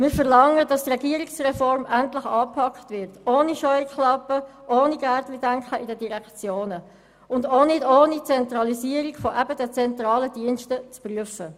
Wir verlangen, dass die Regierungsreform endlich angepackt wird, ohne Scheuklappen und ohne «Gärtchendenken» in den Direktionen, und auch nicht ohne die Zentralisierung eben dieser zentralen Dienste zu prüfen.